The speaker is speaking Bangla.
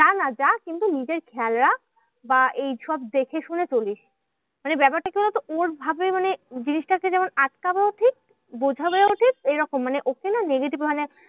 যা না যা কিন্তু নিজের খেয়াল রাখ বা এইসব দেখে শুনে চলিস। মানে ব্যাপারটা কি বলোতো? ওর ভাবে মানে জিনিসটাকে যেমন আটকানো উচিত, বোঝানো উচিত এরকম। মানে ওকে না negative মানে